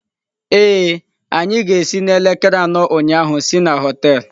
Ee, anyị ga-esi n'elekere anọ ụnyaahụ si na họtel*